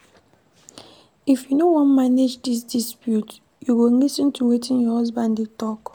If you wan manage dis dispute, you go lis ten to wetin your husband dey tok.